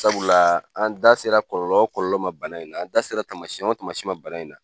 Sabula la an da sera kɔlɔlɔ o kɔlɔlɔ ma bana in na, an da sera tamasiyɛn o tamasiyɛn ma bana in na